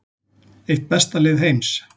Eitt besta lið heims